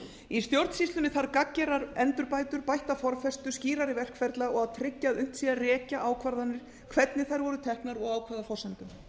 í stjórnsýslunni þarf gagngerar endurbætur bætta formfestu skýrari verkferla og að tryggt sé að unnt sé að rekja áætlanir hvernig þær voru teknar og á hvaða forsendum